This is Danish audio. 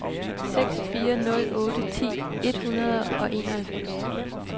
seks fire nul otte ti et hundrede og enoghalvfems